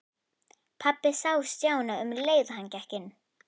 Pabbi sá Stjána um leið og hann gekk inn.